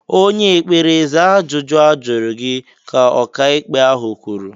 "Onye ekpere, zaa ajụjụ ajụrụ gị!" ka ọka ikpe ahụ kwuru.